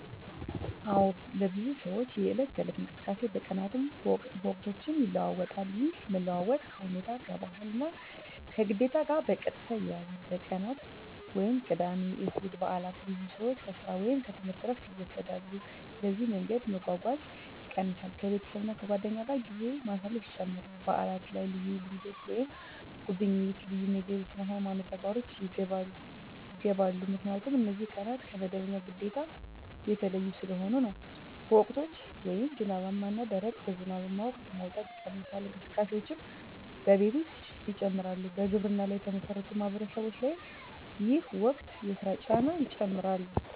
አዎን፣ ለብዙ ሰዎች የዕለት ተዕለት እንቅስቃሴ በቀናትም በወቅቶችም ይለዋዋጣል። ይህ መለዋወጥ ከሁኔታ፣ ከባህል እና ከግዴታ ጋር በቀጥታ ይያያዛል። በቀናት (ቅዳሜ፣ እሁድ፣ በዓላት): ብዙ ሰዎች ከሥራ ወይም ከትምህርት ዕረፍት ይወስዳሉ፣ ስለዚህ መንገድ መጓጓዝ ይቀንሳል ከቤተሰብ እና ከጓደኞች ጋር ጊዜ ማሳለፍ ይጨምራል በዓላት ላይ ልዩ ልምዶች (ጉብኝት፣ ልዩ ምግብ፣ ስነ-ሃይማኖት ተግባሮች) ይገባሉ 👉 ምክንያቱም እነዚህ ቀናት ከመደበኛ ግዴታ የተለዩ ስለሆኑ ነው። በወቅቶች (ዝናባማ እና ደረቅ): በዝናባማ ወቅት መውጣት ይቀንሳል፣ እንቅስቃሴዎችም በቤት ውስጥ ይጨምራሉ በግብርና ላይ የተመሠረቱ ማህበረሰቦች ላይ ይህ ወቅት የሥራ ጫና ይጨምራል